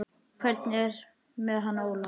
Hvernig er með hann Óla?